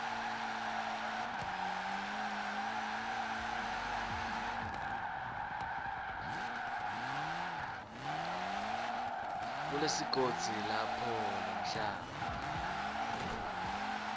kulesigodzi lapho lomhlaba